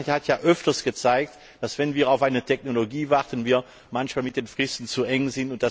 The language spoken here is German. kann. Die Vergangenheit hat ja öfter gezeigt, dass wir, wenn wir auf eine Technologie warten, manchmal zu enge Fristen setzen.